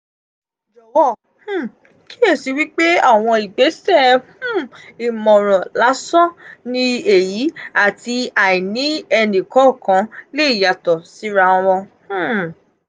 jowo um kiyesi wipe awon igbese um imoran lasan um ni eyi ati aini enikookan le yato sira won.